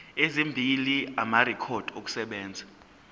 ezimbili amarekhodi okusebenza